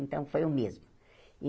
Então, foi o mesmo.